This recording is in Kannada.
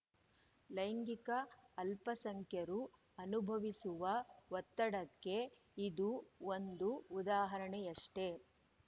ಲೈಂಗಿಕ ಅಲ್ಪಸಂಖ್ಯರು ಅನುಭವಿಸುವ ಒತ್ತಡಕ್ಕೆ ಇದು ಒಂದು ಉದಾಹರಣೆಯಷ್ಟೆ